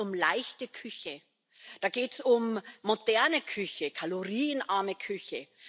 Da geht es um leichte Küche, da geht es um moderne Küche, kalorienarme Küche.